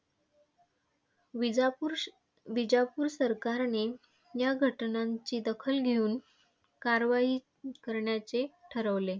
विजापूर, विजापूर सरकारने या घटनांची दखल घेऊन कारवाई करण्याचे ठरविले.